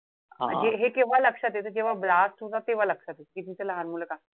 हे केव्हा लक्षात येत जेव्हा blast होतात. तेव्हा लक्षात येत कि तिथे लहान मुलं काम,